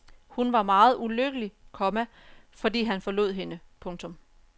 Hun var meget ulykkelig, komma fordi han forlod hende. punktum